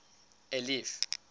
eliff